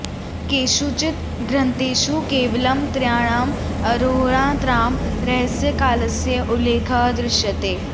केषुचित् ग्रन्थेषु केवलं त्रयाणाम् अहोरात्राणां रहस्यकालस्य उल्लेखः दृश्यते